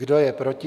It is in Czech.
Kdo je proti?